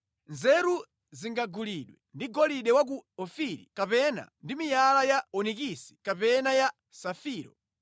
Nzeru singagulidwe ndi golide wa ku Ofiri, kapena ndi miyala ya onikisi kapena ya safiro.